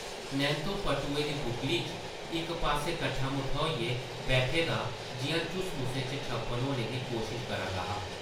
नैंत्तो पट्टुऐ दी बुक्कली च इक पास्सै कट्ठा-मुट्ठा होइयै बैठे दा जिʼयां झुसमुसे च छप्पन होने दी कोशश करा दा हा ।